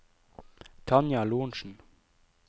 Tanja Lorentsen